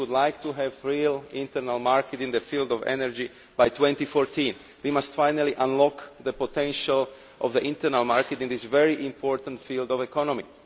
We would like to have a real internal market in the field of energy by 2014. We must finally unlock the potential of the internal market in this very important field of the economy.